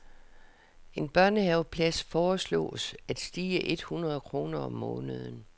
En børnehaveplads foreslås at stige et hundrede kroner om måneden.